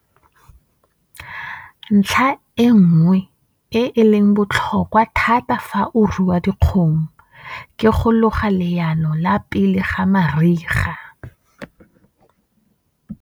Ntlha e nngwe e e leng botlhokwa thata fa o rua dikgomo ke go loga leano la pele-ga-mariga.